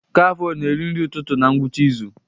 Kafe a ọ na-eri nri ụtụtụ na ngwụcha izu?